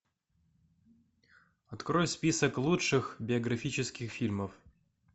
открой список лучших биографических фильмов